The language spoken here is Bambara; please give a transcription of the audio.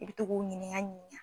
I bi t'o k'u ɲininka ɲininka